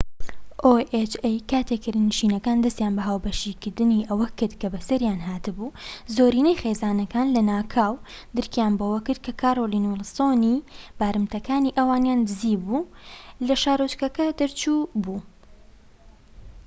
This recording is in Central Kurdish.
کاتێک کرێنشینەکان دەستیان بە هاوبەشکردنی ئەوە کرد کە بە سەریان هات بوو زۆرینەی خێزانەکان لەناکاو درکیان بەوە کرد کە کارۆلین ویڵسۆنی oha بارمتەکانی ئەوانیان دزی بو لە شارۆچکەکە دەرچوو بوو